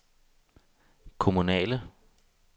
kommunale